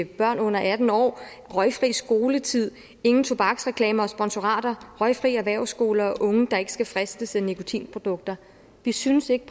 børn under atten år røgfri skoletid ingen tobaksreklamer og sponsorater røgfri erhvervsskoler unge der ikke skal fristes af nikotinprodukter vi synes ikke